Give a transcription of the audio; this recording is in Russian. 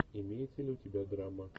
имеется ли у тебя драма